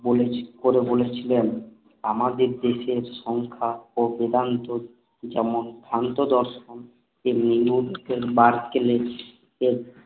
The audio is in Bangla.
বলেছ পুরো বলে ছিলেন আমাদের দেশের সংখ্যা ও বেদান্তর যেমন ফান্তদর্শন তেমনি নিউটকেন বার্থকেলেজ এর